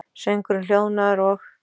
Söngurinn hljóðnaður, og